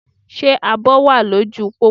Ṣé àbò wà lóju u pópó?